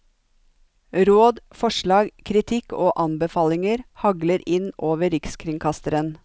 Råd, forslag, kritikk og anbefalinger hagler inn over rikskringkasteren.